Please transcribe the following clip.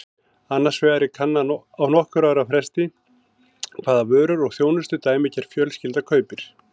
Annars vegar er kannað á nokkurra ára fresti hvaða vörur og þjónustu dæmigerð fjölskylda kaupir.